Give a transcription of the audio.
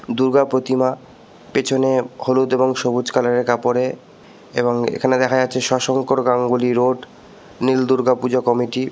দুর্গা প্রতিমা | পেছনে হলুদ এবং সবুজ কালারের কাপড়ে | এবং এখানে দেখা যাচ্ছে সশংকর গাঙ্গুলী রোড | নীল দূর্গা পূজা কমিটি ।